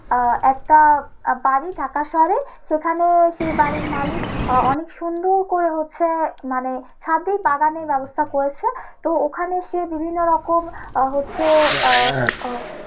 আহ একটা বাড়ি ঢাকার শহরে সেখানে সে বাড়ির মালিক আহ অনেক সুন্দর করে হচ্ছে মানে ছাদ দিয়ে বাগানের ব্যবস্থা করেছে তো ওখানে সে বিভিন্ন রকম আহ হচ্ছে আহ